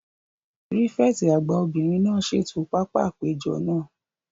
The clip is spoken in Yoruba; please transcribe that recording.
Pírífẹ̀tì àgbà obìnrin náà ṣètò pápá àpéjọ náà